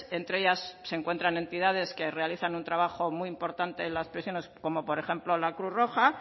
entre ellas se encuentran entidades que realizan un trabajo muy importante en las prisiones como por ejemplo la cruz roja